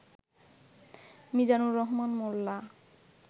Mizanur Rahman Molla